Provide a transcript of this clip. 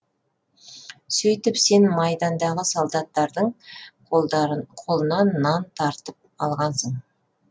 сөйтіп сен майдандағы солдаттардың қолынан нанын тартып алғансың